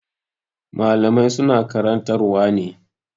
Malamai su na karantar wa ne